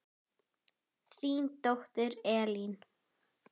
Þín dóttir Elín.